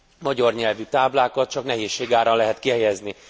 magyar nyelvű táblákat csak nehézség árán lehet kihelyezni.